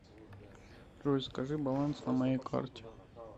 джой скажи баланс на моей карте